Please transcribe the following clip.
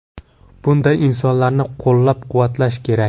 Bunday insonlarni qo‘llab-quvvatlash kerak.